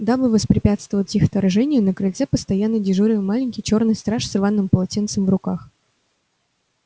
дабы воспрепятствовать их вторжению на крыльце постоянно дежурил маленький чёрный страж с рваным полотенцем в руках